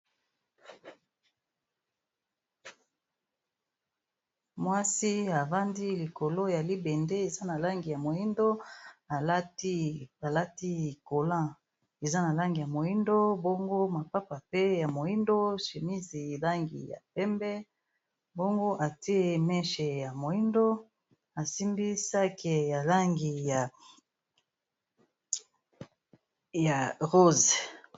Mwasi avandi likolo ya libende eza na langi ya moyindo alati collant eza na langi ya moyindo mbongo mapapa pe ya moyindo chemise langi ya pembe mbongo atie meshe ya moyindo asimbi sak ya langi ya rose.